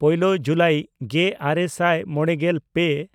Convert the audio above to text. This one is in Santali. ᱯᱳᱭᱞᱳ ᱡᱩᱞᱟᱭ ᱜᱮᱼᱟᱨᱮ ᱥᱟᱭ ᱢᱚᱬᱜᱮᱞ ᱯᱮ